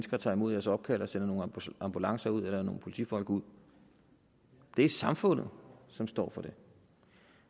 og tager imod opkaldet og sender nogle ambulancer eller nogle politifolk ud det er samfundet som står for det